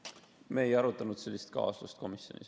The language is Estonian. Me ei arutanud sellist kaasust komisjonis.